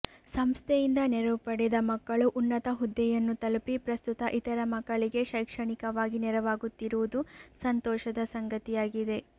ಸಂಸ್ಥೆಯಿಂದ ನೆರವು ಪಡೆದ ಮಕ್ಕಳು ಉನ್ನತ ಹುದ್ಧೆಯನ್ನು ತಲುಪಿ ಪ್ರಸ್ತುತ ಇತರ ಮಕ್ಕಳಿಗೆ ಶೈಕ್ಷಣಿಕವಾಗಿ ನೆರವಾಗುತ್ತಿರುವುದು ಸಂತೋಷದ ಸಂಗತಿಯಾಗಿದೆ